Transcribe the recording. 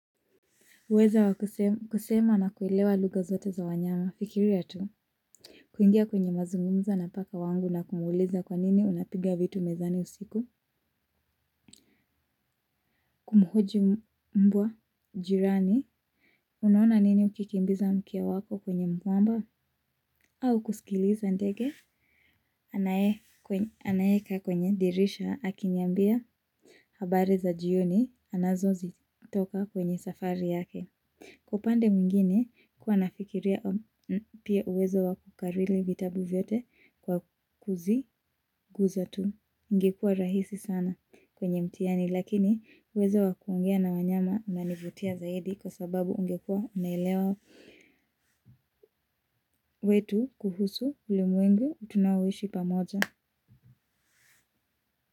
Uweza wa kusema na kuelewa lugha zote za wanyama fikiria tu. Kuingia kwenye mazungumzo na paka wangu na kumuuliza kwa nini unapiga vitu mezani usiku. Kumhoji mbwa, jirani. Unaona nini ukikimbiza mke wako kwenye mwamba? Au kusikiliza ndege. Anaeka kwenye dirisha akiniambia habari za jioni anazozitoka kwenye safari yake. Kwa upande mwingine kuwa nafikiria pia uwezo wa kukarili vitabu vyote kwa kuziguza tu. Ingekua rahisi sana kwenye mtiani lakini uwezo wa kuongea na wanyama unanivutia zaidi kwa sababu ungekua unaelewa wetu kuhusu ulimwengu tunaoishi pamoja.